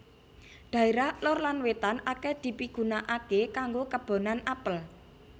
Dhaérah lor lan wétan akèh dipigunaaké kanggo kebonan apel